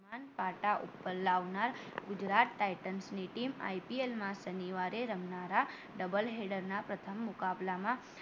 અભિમાન પાટા ઉપર લાવનાર ગુજરાત ટાઇટન્સ ની team IPL માં શનિવારે રમનારા double header ના પ્રથમ મુકાબલામાં